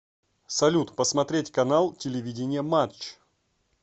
салют посмотреть канал телевидения матч